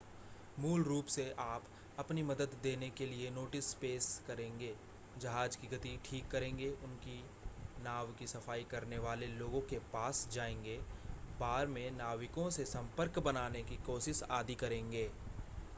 मूल रूप से आप अपनी मदद देने के लिए नोटिस पेश करेंगे जहाज की गति ठीक करेंगे उनकी नाव की सफाई करने वाले लोगों के पास जाएंगे बार में नाविकों से संपर्क बनाने की कोशिश आदि करेंगे